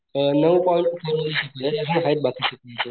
अ नऊ पॉईंट फॉर्मुले शिकवले यातले आहेत बाकीचे म्हणजे.